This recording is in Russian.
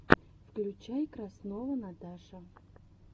включай краснова наташа